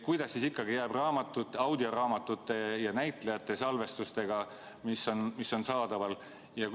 Kuidas siis ikkagi jääb audioraamatute ja näitlejate salvestistega, mis on saadaval?